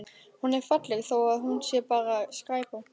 Hún er falleg þó að hún sé bara skræpa.